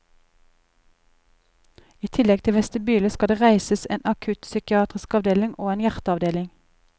I tillegg til vestibyle skal det reises en akuttpsykiatrisk avdeling og en hjerteavdeling.